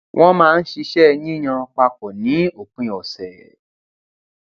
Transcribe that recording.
wọn máa ń ṣisẹ yíyan papọ ní òpin ọsẹ